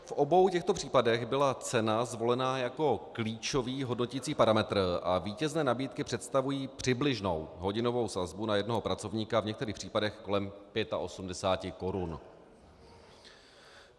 V obou těchto případech byla cena zvolena jako klíčový hodnoticí parametr a vítězné nabídky představují přibližnou hodinovou sazbu na jednoho pracovníka v některých případech kolem 85 korun.